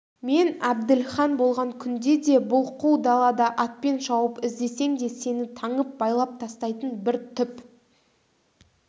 мен әбділхан болған күнде де бұл қу далада атпен шауып іздесең де сені таңып байлап тастайтын бір түп